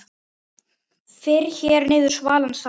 Fyrr hér viður svalan sand